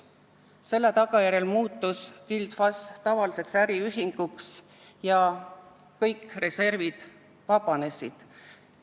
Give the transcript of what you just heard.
Selle tagajärjel muutus Gild FAS tavaliseks äriühinguks ja kõik reservid vabanesid.